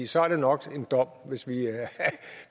så er det nok en dom